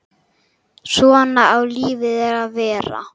Svona á lífið að vera.